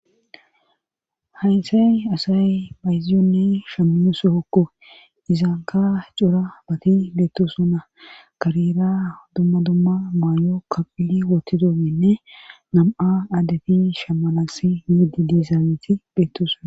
Haysay asaybayziyonne shammiyo sohokko izankka cora bati beettoosona karera dumma dumma mayo kaqqidi wottidoynne nam77a adde shammannaassi yiiddi dizageti beettoosna.